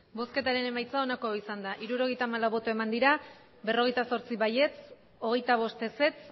emandako botoak hirurogeita hamalau bai berrogeita zortzi ez hogeita bost